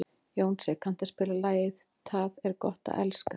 Jónsi, kanntu að spila lagið „Tað er gott at elska“?